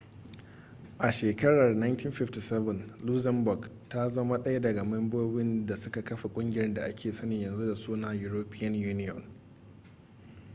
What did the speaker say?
a shekarar 1957 luxembourg ta zama ɗaya daga membobin da suka kafa ƙungiyar da aka sani yanzu da suna european union